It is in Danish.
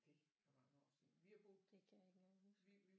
Det er mange år siden vi har boet vi vi